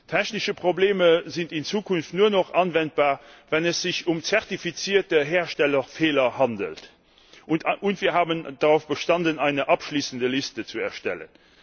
Technische Probleme sind in Zukunft nur noch geltend zu machen, wenn es sich um zertifizierte Herstellerfehler handelt. Und wir haben darauf bestanden, eine abschließende Liste zu erstellen.